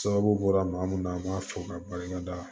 Sababu bɔra maa munu na an b'a fɔ ka barika da